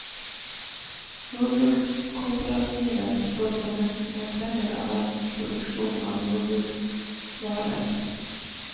Jordbrukskooperativer står for nesten en tredel av verdens produksjon av jordbruksvarer.